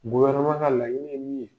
ka laɲini ye min ye.